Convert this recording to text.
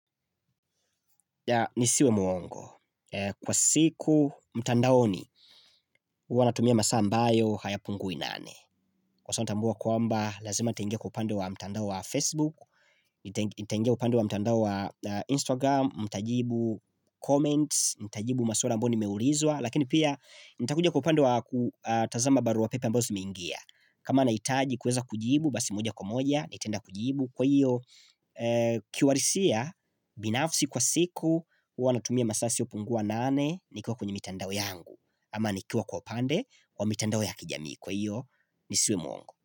Nisiwe mwongo, kwa siku mtandaoni huwa natumia masaa ambayo hayapungui nane Kwa sababu natambua kwamba lazima nitaingia kwa upande wa mtandao wa Facebook, nitaingia kwa upande wa mtandao wa Instagram, nitajibu comments, nitajibu maswali ambayo nimeulizwa Lakini pia nitakuja kwa upande wa kutazamba barua pepe ambazo zimeingia kama nahitaji kuweza kujibu basi moja kwa moja, nitaenda kujibu Kwa hiyo kiwarisia binafsi kwa siku huwa natumia masaa yasiopungua nane Nikiwa kwenye mitandao yangu Ama nikiwa kwa pande Kwa mitandao ya kijamii Kwa hiyo nisiwe mwongo.